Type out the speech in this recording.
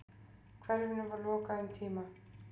Hverfinu var lokað um tíma.